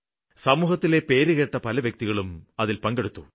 സമൂഹത്തിലെ പേരുകേട്ട പല വ്യക്തികളും അതില് പങ്കെടുത്തു